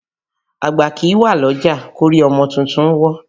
Àgbà kìí wà lọ́jà kórí ọmọ tuntun wọ́